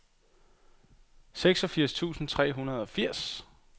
seksogfirs tusind fire hundrede og firs